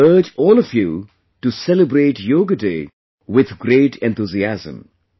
I would urge all of you to celebrate 'Yoga Day' with great enthusiasm